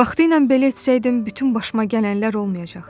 Vaxtilə belə etsəydim bütün başıma gələnlər olmayacaqdı.